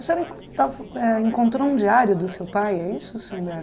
O senhor estava fa eh encontrou um diário do seu pai, é isso, senhor?